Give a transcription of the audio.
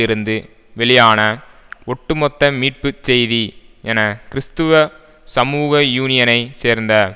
இருந்து வெளியான ஒட்டுமொத்த மீட்பு செய்தி என கிறிஸ்துவ சமூக யூனியனை சேர்ந்த